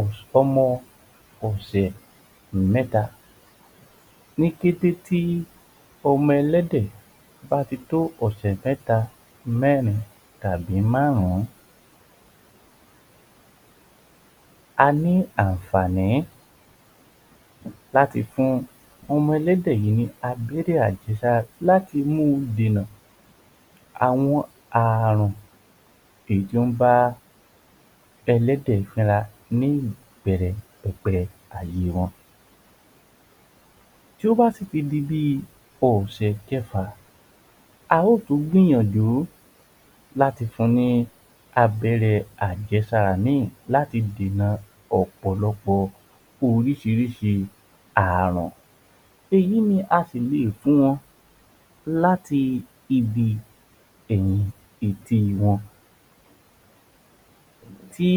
ọ̀sọ́mọ́ ọ̀sẹ̀ mẹ́ta, ní kété tí ọmọ ẹlẹ́dẹ̀ bá ti tó ọ̀sẹ̀ mẹ́ta, mẹ́rin tàbí márùn-ún a ní àǹfààní láti fún ọmọ ẹlẹ́dẹ̀ yìí ní abẹ́rẹ́ àjẹ́sára láti mú u dìnà àwọn àrùn èyí tí ó ń bá ẹlẹ́dẹ̀ finra ní ìbẹ̀rẹ̀ pẹ̀pẹ̀ ayé wọn. Tí ó bá sì di bí ọ̀sẹ̀ kẹfà, a ó tún gbìyànjú láti fun ní bí abẹ́rẹ́ àjẹ́sára ní yìí láti dìnà ọ̀pọ̀lọpọ̀ oríṣiríṣi àrùn, èyí ni a sì lè fún wọn láti ibi ẹ̀yìn ìdí wọn. Tí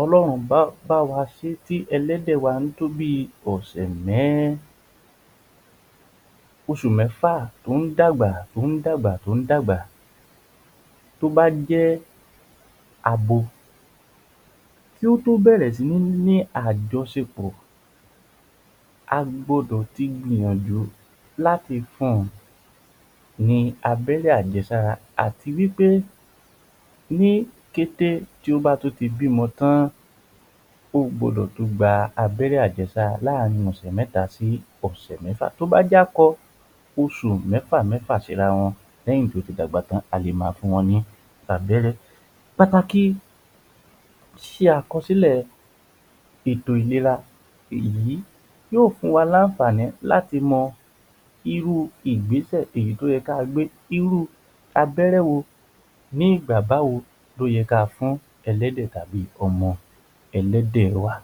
Ọlọ́run bá báwa ṣe tí ẹlẹ́dẹ̀ wa ń tóbi tó ọ̀sẹ̀ um oṣù mẹ́fà tó ń dàgbà tó ń dàgbà, tó bá jẹ́ abo tí ó tọ́ bẹ̀rẹ̀ sí ní àjọsẹ̀pọ̀ a gbọdọ̀ ti gbìyànjú láti fun- un ní abẹ́rẹ́ àjẹ́sára àti wí pé ní kete tí ó bá ti bímọ tán ó gbọdọ̀ tún gba abẹ́rẹ́ àjẹ́sára ọ̀sẹ̀ mẹ́ta sí ọ̀sẹ̀ mẹ́fà, tí ó bá jẹ́ akọ oṣù mẹ́fà mẹ́fà sí ara wọn leyin ti o ti dàgbà tàn-án a lè ma fún wọn ní abẹ́rẹ́. Pàtàkì ṣíṣe àkọsílẹ̀ ètò ìléra ìyí yóò fún wa ní àǹfààní láti mọ irú Ìgbésẹ̀ èyí tí ó yẹ kí a gbé, irú abẹ́rẹ́ wo ní ìgbà báwo ni ka fún ẹlẹ́dẹ̀ tàbí ọmọ ẹlẹ́dẹ̀ wa.